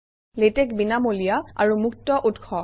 LaTeX বিনামূলীয়া আৰু মুক্তউৎস